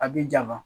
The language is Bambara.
A bi jan ma